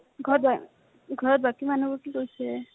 ঘৰত বা ঘৰত বাকী মানুহ বোৰে কি কৰিছে?